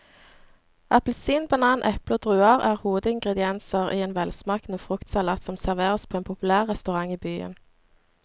Appelsin, banan, eple og druer er hovedingredienser i en velsmakende fruktsalat som serveres på en populær restaurant i byen.